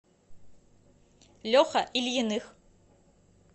леха ильиных